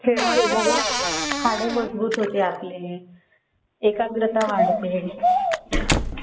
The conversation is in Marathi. खेळामुळे हाडे मजबूत होते आपले. एकाग्रता वाढते